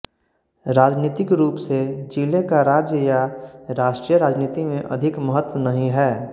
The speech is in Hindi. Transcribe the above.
राजनीतिक रूप से जिले का राज्य या राष्ट्रीय राजनीति में अधिक महत्व नहीं है